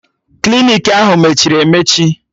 Klinik ahụ mechiri emechi